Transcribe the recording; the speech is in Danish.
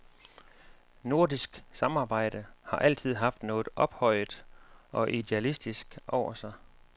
Nordisk samarbejde har altid haft noget ophøjet og idealistisk over sig.